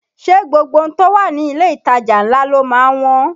Ṣé gbogbo ohun tó wà ní ilé ìtajà ńlá ló má ń wọ́n?